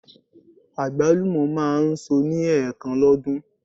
Àgbálùmọ̀ máa ń so ní ẹ̀ẹ̀kan lọ́dún.